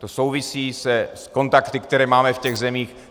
To souvisí s kontakty, které máme v těch zemích.